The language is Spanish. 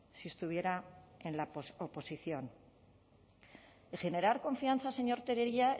si estuviera en la oposición y generar confianza señor tellería